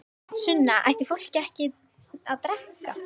Sunna: Ætti fólk ekki að drekka?